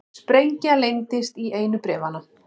Sprengja leyndist í einu bréfanna